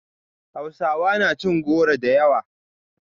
Hausawa na cin goro da yawa